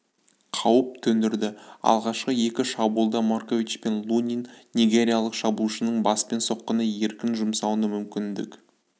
қауіп төндірді алғашқы екі шабуылда маркович пен лунин нигериялық шабуылшының баспен соққыны еркін жұмсауына мүмкіндік